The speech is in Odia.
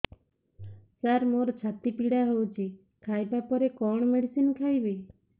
ସାର ମୋର ଛାତି ପୀଡା ହଉଚି ଖାଇବା ପରେ କଣ ମେଡିସିନ ଖାଇବି